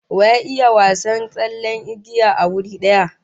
Wa ya iya wasan tsallen igiya a wuri daya?